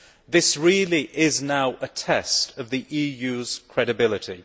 This really is now a test of the EU's credibility.